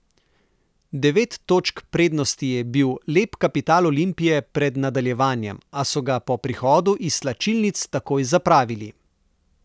Devet točk prednosti je bil lep kapital Olimpije pred nadaljevanjem, a so ga po prihodu iz slačilnic takoj zapravili.